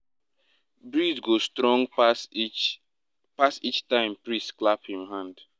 breeze go strong pass each pass each time priest clap him hand.